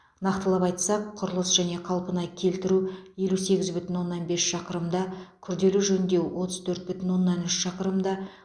нақтылап айтсақ құрылыс және қалпына келтіру елу сегіз бүтін оннан бес шақырымда күрделі жөндеу отыз төрт бүтін оннан үш шақырымда